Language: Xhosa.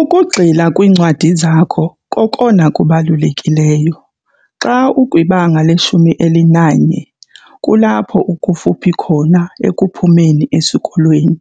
Ukugxila kwiincwadi zakho kokona kubalulekileyo. Xa ukwibanga leshumi elinanye kulapho ukufuphi khona ekuphumeni esikolweni.